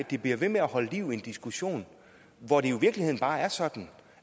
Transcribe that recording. gik bliver ved med at holde liv i en diskussion hvor det jo i virkeligheden bare er sådan